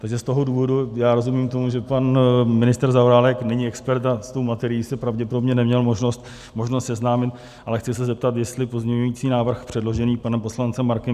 Takže z toho důvodu - já rozumím tomu, že pan ministr Zaorálek není expert a s tou materií se pravděpodobně neměl možnost seznámit, ale chci se zeptat, jestli pozměňující návrh předložený panem poslancem Markem